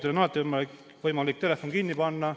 Teil on alati võimalik telefon kinni panna.